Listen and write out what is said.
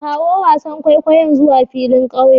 Kawo wasan kwaikwayon zuwa filin ƙauye